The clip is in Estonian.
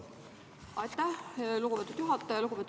Aitäh, lugupeetud juhataja!